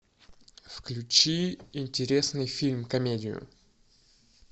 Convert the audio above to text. включи интересный фильм комедию